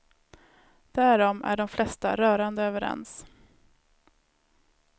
Därom är de flesta rörande överens.